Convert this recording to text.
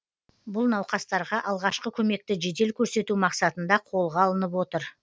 бұл науқастарға алғашқы көмекті жедел көрсету мақсатында қолға алынып отыр